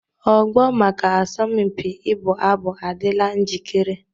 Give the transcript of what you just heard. Ogbo maka asọmpi ịbụ abụ adịla njikere